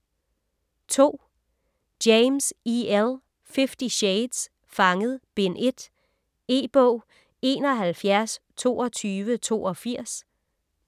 James, E. L.: Fifty shades: Fanget: Bind 1 E-bog 712282